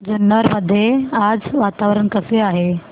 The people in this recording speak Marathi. जुन्नर मध्ये आज वातावरण कसे आहे